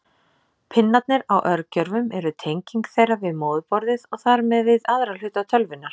Pinnarnir á örgjörvum eru tenging þeirra við móðurborðið og þar með við aðra hluta tölvunnar.